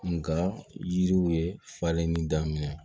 Nka yiriw ye falen ni daminɛ